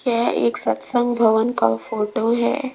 यह एक सत्संग भवन का फोटो है।